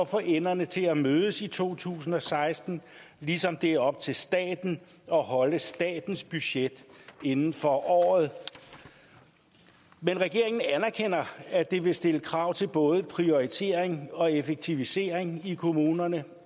få enderne til at mødes i to tusind og seksten ligesom det er op til staten at holde statens budget inden for året regeringen anerkender at det vil stille krav til både prioritering og effektivisering i kommunerne